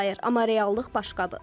Amma reallıq başqadır.